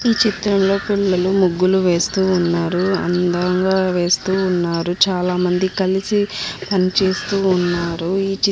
ఈ చిత్రంలో పిల్లలు ముగ్గులు వేస్తూ ఉన్నారు. అందంగా వేస్తూ ఉన్నారు. చాలా మంది కలిసి పన్నిచేస్తు ఉన్నారు.